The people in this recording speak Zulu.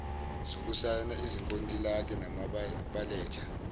zokusayina izinkontilaki nabaletha